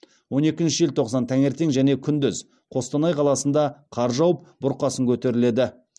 он екінші желтоқсан таңертең және күндіз қостанай қаласында қар жауып бұрқасын көтеріледі